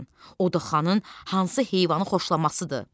O da xanın hansı heyvanı xoşlamasıdır.